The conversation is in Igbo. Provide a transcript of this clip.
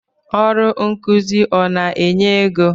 Ọrụ nkụzi ọ na-enye égo?